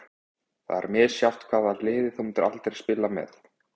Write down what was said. Það er misjafnt Hvaða liði myndir þú aldrei spila með?